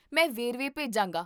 ਮੈਂ ਵੇਰਵੇ ਭੇਜਾਂਗਾ